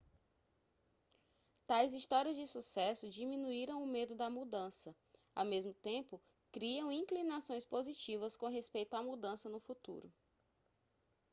tais histórias de sucesso diminuíram o medo da mudança ao mesmo tempo criam inclinações positivas com respeito à mudança no futuro